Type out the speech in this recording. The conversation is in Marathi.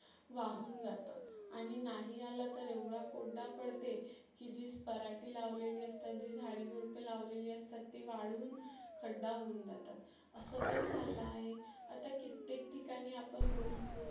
वाहुन जातं आणि नाही आला तर एवढा कोरडा पडते की जी पराटी लावलेली असतात, जी झाडे झुडपे लावलेली असतात ती वाळून खड्डा होऊन जातात. असं पण झालं आहे. आता कित्तेक ठिकाणी आपण रोज news